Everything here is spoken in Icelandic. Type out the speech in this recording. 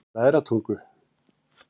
Bræðratungu